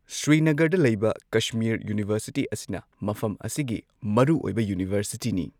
ꯁ꯭ꯔꯤꯅꯒꯔꯗ ꯂꯩꯕ ꯀꯁꯃꯤꯔ ꯌꯨꯅꯤꯚꯔꯁꯤꯇꯤ ꯑꯁꯤꯅ ꯃꯐꯝ ꯑꯁꯤꯒꯤ ꯃꯔꯨꯑꯣꯏꯕ ꯌꯨꯅꯤꯚꯔꯁꯤꯇꯤꯅꯤ꯫